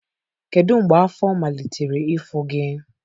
Kedu mgbe afọ malitere ịfụ gị?